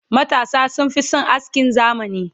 matasa sun Fi San askin zamani